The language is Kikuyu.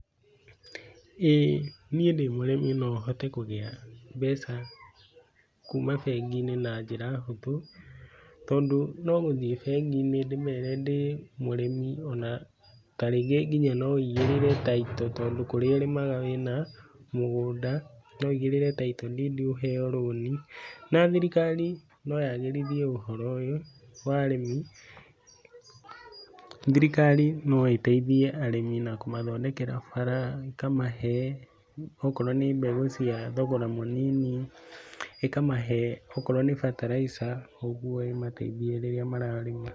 ĩĩ niĩ ndĩ mũrĩmi nohote kũgĩa mbeca kuma bengi-inĩ na njĩra hũthũ, tondũ no gũthiĩ bengi-inĩ ndĩmere ndĩ mũrĩmi ona ta rĩngĩ nginya no ũigĩrĩre title tondũ kũrĩa ũrĩmaga wĩna mũgũnda, no ũigĩrĩre title deed ũheo rũni, na thirikari no yagĩrithie ũhoro ũyũ wa arĩmi, thirikari no ĩteithie arĩmi na kũmathondekera bara, ĩkamahe okorwo nĩ mbegũ cia thogora mũnini, ĩkamahe okorwo nĩ bataraitha, ũguo ĩmateithie rĩrĩa mararĩma.